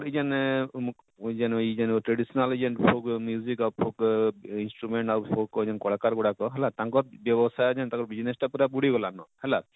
ଇ ଜେନ ଇଜେନ ଇଜେନ traditional ଇଜେନ folk folk instrument folk ଆଉ କଳାକାର ଗୁଡାକ ହେଲା ତାଙ୍କର ବ୍ୟବସାୟ ଜେନ ତାଙ୍କର business ଟା ପୁରା ବୁଡି ଗଲାନ ହେଲା,